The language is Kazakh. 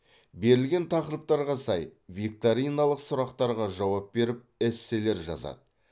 берілген тақырыптарға сай викториналық сұрақтарға жауап беріп эсселер жазады